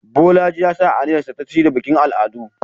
Bolaji ya sa aniyarsa ta shirya bikin al'adu